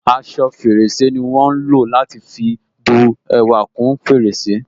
Aṣọ fèrèsé ni wọn ń lò láti fi bú ẹwà kún fèrèsé